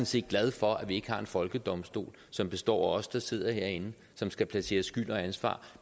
set glad for at vi ikke har en folkedomstol som består af os der sidder herinde som skal placere skyld og ansvar